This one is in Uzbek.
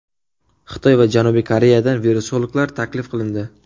Xitoy va Janubiy Koreyadan virusologlar taklif qilindi.